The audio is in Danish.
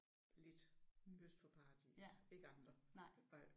Lidt. Øst for Paradis. Ikke andre